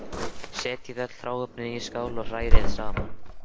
Setjið öll hráefnin í skál og hrærið saman.